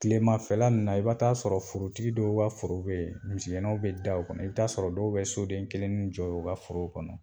Tilemafɛla in na i ba t'a sɔrɔ forotigi dɔw ka foro beyi misigɛnaw bɛ da o kɔnɔ i bi t'a sɔrɔ dɔw bɛ soden kelennin jɔ o ka foro kɔnɔ.